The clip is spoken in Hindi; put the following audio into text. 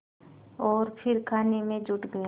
और फिर खाने में जुट गया